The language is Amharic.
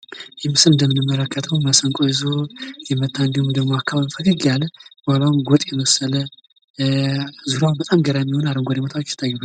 ይህ ምስል እንደምንመለከተው መሰንቆ ይዞ እየመታ እንድሁም ደግሞ አካባቢው ፈገግ ያለ ጎጥ የመሰለ ዙሪያውን በጣም ገራሚ የሆነ አረንጓዴ ቦታዎች ይታዩናል።